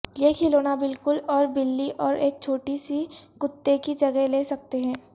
یہ کھلونا بالکل اور بلی اور ایک چھوٹی سی کتے کی جگہ لے سکتے ہیں